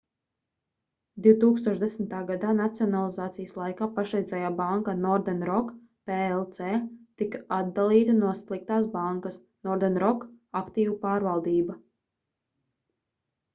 2010. gadā nacionalizācijas laikā pašreizējā banka northern rock plc tika atdalīta no sliktās bankas” northern rock aktīvu pārvaldība